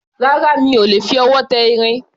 Rárá, mi ò lè fi ọwọ́ tẹ irin